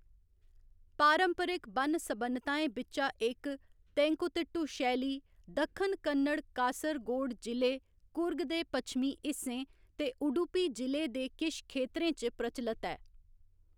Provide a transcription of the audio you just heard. पारंपरिक बन्न सबन्नताएं बिच्चा इक, तेंकुतिट्टु शैली, दक्खन कन्नड़, कासरगोड जि'ले, कुर्ग दे पच्छमीं हिस्सें ते उडुपी जि'ले दे किश खेतरें च प्रचलत ऐ।